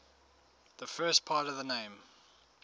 the first part of the name